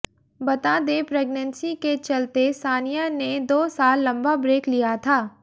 बता दें प्रेग्नेंसी के चलते सानिया ने दो साल लंबा ब्रेक लिया था